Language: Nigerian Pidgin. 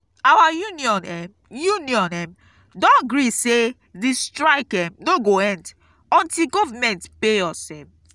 our union um union um don gree sey di strike um no go end untill government pay us. um